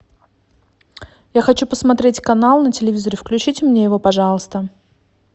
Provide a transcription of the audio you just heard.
я хочу посмотреть канал на телевизоре включите мне его пожалуйста